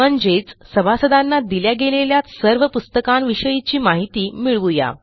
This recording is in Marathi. म्हणजेच सभासदांना दिल्या गेलेल्या सर्व पुस्तकांविषयीची माहिती मिळवू या